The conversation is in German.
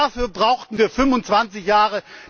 Dafür brauchten wir 25 Jahre.